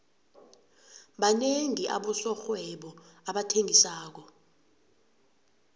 banengi abosomarhwebo abathengisako